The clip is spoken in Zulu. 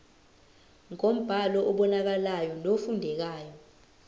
ngombhalo obonakalayo nofundekayo